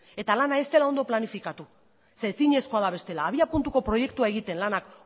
eta lana ez dela ongi planifikatu zeren ezinezkoa da bestela habia puntuko proiektua egiten lanak